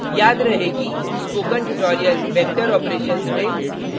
याद रहे कि spoken tutorial vector operations vector operations में